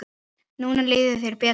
Núna líður þér betur.